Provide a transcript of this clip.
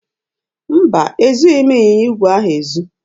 Mba, ezughị m ịnyịnya igwe ahụ ezu.